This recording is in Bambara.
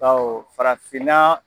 Baw farafinna